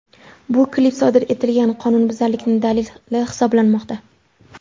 Bu klip sodir etilgan qonunbuzarlikning dalili hisoblanmoqda.